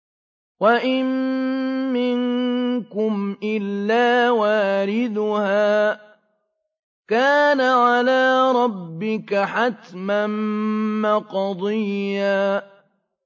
وَإِن مِّنكُمْ إِلَّا وَارِدُهَا ۚ كَانَ عَلَىٰ رَبِّكَ حَتْمًا مَّقْضِيًّا